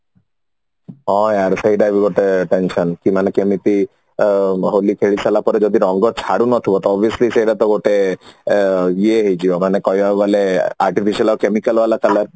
ହଁ ଆରେ ସେଇଟା ବି ଗୋଟେ concern ମାନେ କେମିତି ହୋଲି ଖେଳି ସାରିଲା ପରେ ଯଦି ରଙ୍ଗ ଛାଡୁନଥିବ ତ obviously ସେଇଟା ତ ଗୋଟେ ଅ ଏଇ ହେଇଯିବ ମାନେ କହିବାକୁ ଗଲେ artificial ଆଉ chemical ବାଲା color